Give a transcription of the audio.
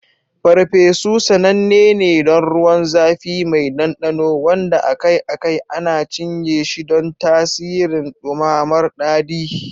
Parpesu sananne ne don ruwan zafi mai ɗanɗano, wanda akai-akai ana cinye shi don tasirin ɗumamar daɗi.